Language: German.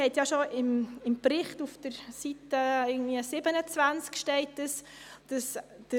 Fruchtfolgeflächen haben auch mit Klimazonen zu tun, und zwar mit den Klimazonen A bis D.